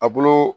A bolo